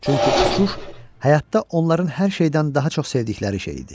Çünki uçuş həyatda onların hər şeydən daha çox sevdikləri şey idi.